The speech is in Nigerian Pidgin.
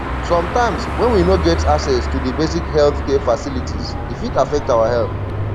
sometimes when we no get access to di basic health care facilities e fit affect our health